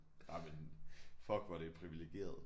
Jamen fuck hvor er det privilegeret